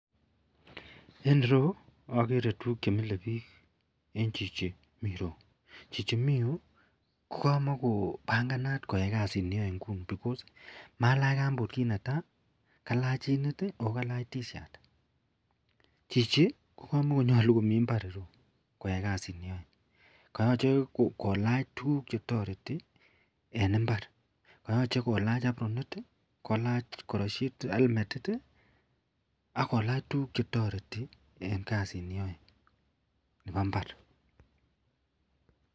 En ireyu agere tuguk chemile bik en Chichi miten ireyu Chichi mi Yu kokamakobanganat koyai kasit neyae nguni amun Malachi kambut kit netai kalach chunit akokalach tishat Chichi ko kamakonyalu komiten imbar iroyu koyai kasit niyoe koyache kolach tuguk chetareti en imbar koyache kolach abronit akolach kartasit Alan ko elmetit akolach tuguk chetareti en kasit neyoe Nebo mbar